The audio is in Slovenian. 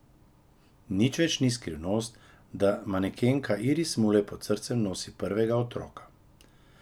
Nič več ni skrivnost, da manekenka Iris Mulej pod srcem nosi prvega otroka.